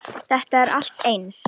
Þetta er allt eins!